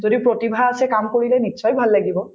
যদি প্ৰতিভা আছে কাম কৰিলে নিশ্চয় ভাল লাগিব